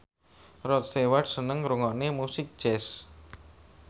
Rod Stewart seneng ngrungokne musik jazz